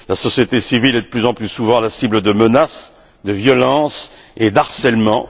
La société civile est de plus en plus souvent la cible de menaces, de violences et de harcèlements.